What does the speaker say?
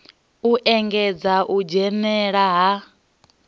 u engedza u dzhenela ha